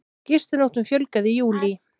Gistinóttum fjölgaði í júlí